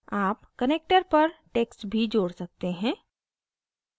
आप connector पर text भी जोड़ सकते हैं